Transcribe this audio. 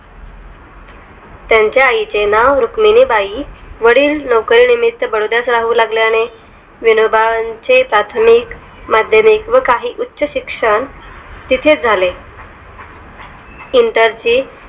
त्यांच्या आईचे नाव रुक्मिणीबाई, वडील नोकरीनिमित्त बडोदरा राहू लागले. आणि विनोबा चे प्राथमिक माध्यमिक या काही उच्चशिक्षण तिथेच झाले inter